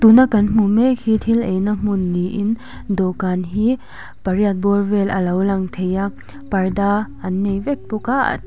tuna kan hmuh mek hi thil eina hmun niin dawhkân hi pariat bawr vel alo lang thei a parda an nei vek bawk a.